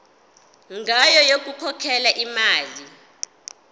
ngayo yokukhokhela imali